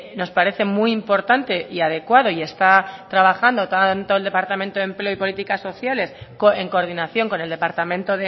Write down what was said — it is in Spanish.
nos parece muy importante y adecuado y está trabajando tanto el departamento de empleo y política sociales en coordinación con el departamento